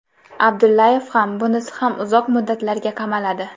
Abdullayev ham, bunisi ham uzoq muddatlarga qamaladi.